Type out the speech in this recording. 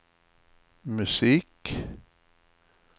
musik